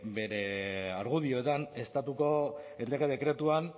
bere argudioetan estatuko lege dekretuan